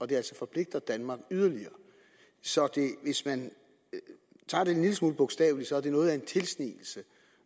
det altså forpligter danmark yderligere så hvis man tager det en lille smule bogstaveligt sige at det er noget af en tilsnigelse